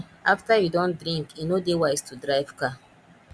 after you don drink e no dey wise to drive car